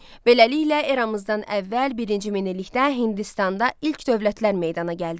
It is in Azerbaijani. Beləliklə, eramızdan əvvəl birinci minillikdə Hindistanda ilk dövlətlər meydana gəldi.